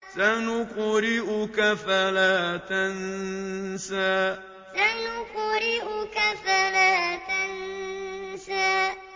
سَنُقْرِئُكَ فَلَا تَنسَىٰ سَنُقْرِئُكَ فَلَا تَنسَىٰ